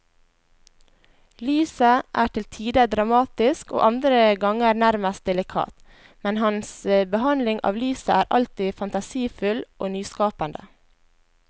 Lyset er til tider dramatisk og andre ganger nærmest delikat, men hans behandling av lyset er alltid fantasifull og nyskapende.